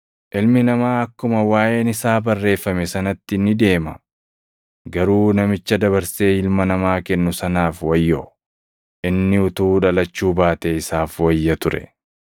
Ilmi Namaa akkuma waaʼeen isaa barreeffame sanatti ni deema. Garuu namicha dabarsee Ilma Namaa kennu sanaaf wayyoo! Inni utuu dhalachuu baatee isaaf wayya ture.”